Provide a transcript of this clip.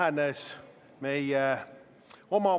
Täna on meil enam kui sada tuhat inimest leiva saamiseks välismaale rännanud.